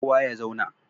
Kowa ya zauna!